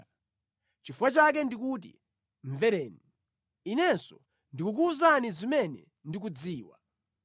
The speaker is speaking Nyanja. “Nʼchifukwa chake ndikuti, ‘Mvereni; inenso ndikukuwuzani zimene ndikuzidziwa.’